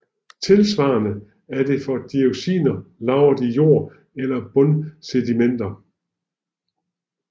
Tilsvarende er det for dioxiner lagret i jord eller bundsedimenter